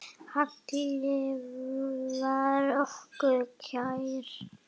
Halli var okkur kær.